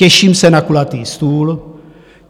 Těším se na kulatý stůl.